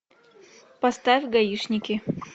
поставь гаишники